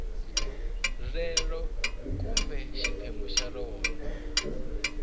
rero kumbe xiphemu xa rona